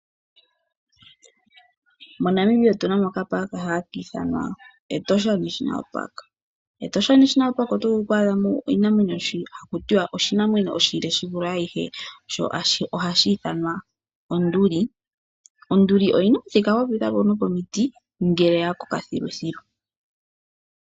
MoNamibia otu na mo oshikunino shiinamwenyo hashi ithanwa Etosha National Park. MEtosha oto vulu oku adha mo oshinamwenyo shono haku tiwa oshinamwenyo oshile shi vule ayihe sho ohashi ithanwa onduli. Onduli oyi na omuthika gwa pita po nopomiti ngele ya koka thiluthilu.